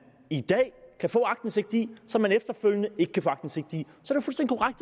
i dag kan få aktindsigt i og som man efterfølgende ikke vil kunne få aktindsigt i